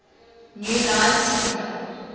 new line cinema